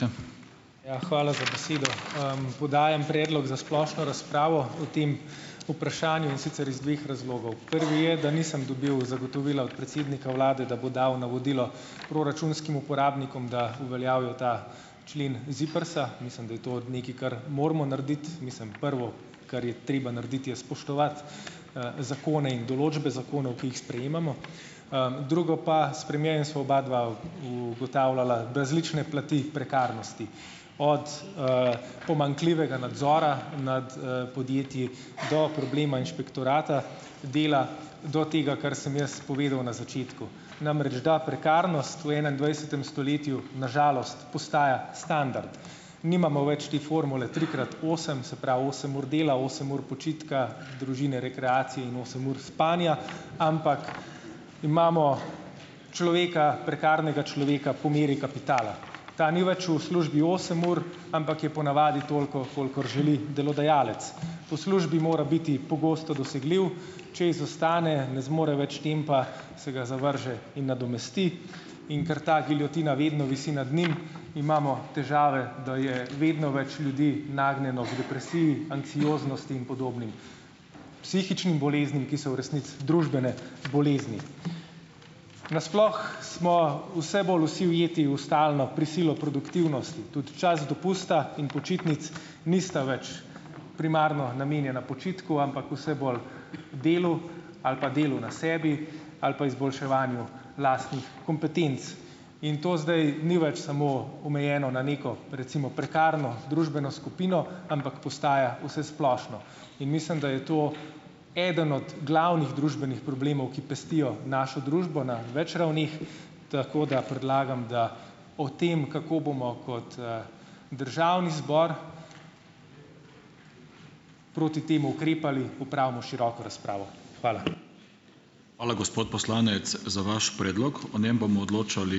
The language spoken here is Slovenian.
Ja, hvala za besedo. Podajam predlog za splošno razpravo o tem vprašanju, in sicer iz dveh razlogov. Prvi je, da nisem dobil zagotovila od predsednika vlade, da bo dal navodilo proračunskim uporabnikom, da uveljavijo ta člen ZIPRS-a. Mislim, da je to od nekaj, kar moramo narediti. Mislim, prvo, kar je treba narediti, je spoštovati, zakone in določbe zakonov, ki jih sprejemamo, drugo pa - s premierjem sva obadva ugotavljala različne plati prekarnosti, od, pomanjkljivega nadzora nad, podjetji, do problema Inšpektorata dela, do tega, kar sem jaz povedal na začetku. Namreč, da prekarnost v enaindvajsetem stoletju, na žalost, postaja standard. Nimamo več te formule tri krat osem, se pravi osem ur dela, osem ur počitka, družine, rekreacije in osem ur spanja, ampak imamo človeka - prekarnega človeka - po meri kapitala. Ta ni več v službi osem ur, ampak je po navadi toliko, kolikor želi delodajalec. Po službi mora biti pogosto dosegljiv, če izostane, ne zmore več tempa, se ga zavrže in nadomesti, in ker ta giljotina vedno visi nad njim, imamo težave, da je vedno več ljudi nagnjeno ker depresiji, anksioznosti in podobnim psihičnim boleznim, ki so v resnici družbene bolezni. Na sploh smo vse bolj vsi ujeti v stalno prisilo produktivnosti, tudi čas dopusta in počitnic nista več primarno namenjena počitku, ampak vse bolj delu ali pa delu na sebi ali pa izboljševanju lastnih kompetenc. In to zdaj ni več samo omejeno na neko recimo prekarno družbeno skupino, ampak postaja vsesplošno. In mislim, da je to eden od glavnih družbenih problemov, ki pestijo našo družbo na več ravneh, tako, da predlagam, da o tem, kako bomo kot, državni zbor proti temu ukrepali opravimo široko razpravo. Hvala.